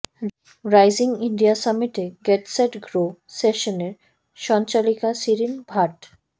rising India সামিটে get set grow সেশনের সঞ্চালিকা শিরিন ভাট